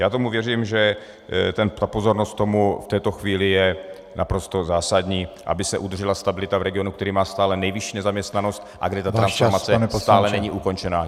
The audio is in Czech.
Já tomu věřím, že ta pozornost tomu v této chvíli je naprosto zásadní, aby se udržela stabilita v regionu, který má stále nejvyšší nezaměstnanost a kde ta transformace stále není ukončena.